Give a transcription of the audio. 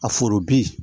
A foro bi